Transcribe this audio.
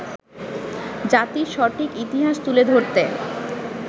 জাতির সঠিক ইতিহাস তুলে ধরতে